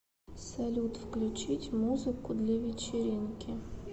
салют включить музыку для вечеринки